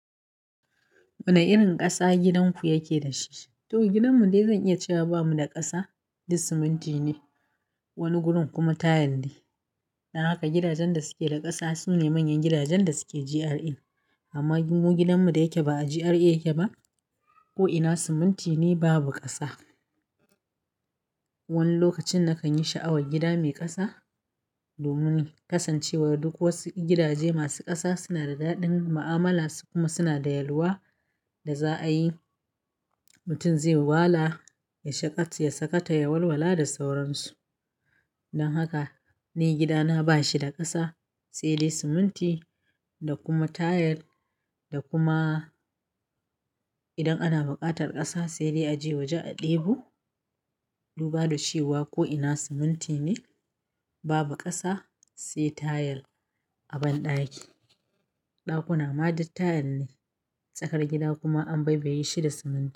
Wane irin ƙasa gidanku yake da shi? To gidanmu dai zan iya cewa bamu da ƙasa, duk siminti ne, wani gurin kuma tayil ne. Dan haka gidajen da suke da ƙasa sune manyan gidajen da suke GRA. Amma gidanmu da yake ba a GRA yake ba ko'ina siminti ne babu ƙasa. Wani lokacin nakan yi sha'awar gida mai ƙasa domin kasancewar duk wasu gidaje masu ƙasa suna da daɗin ma'amala su kuma suna da yalwa da za a yi mutum zai yi wala ya shaƙe ya sakata ya walwala da sauransu. Dan haka ni gidana bashi da ƙasa, sai dai siminti da kuma tayil da kuma idan ana buƙatar ƙasa sai dai a je waje a ɗebo. Duba da shi wa ko'ina siminti ne babu ƙasa sai tayil a banɗaki. Ɗakuna ma duk tayil ne. Tsakar gida kuma an bai baye shi da siminti.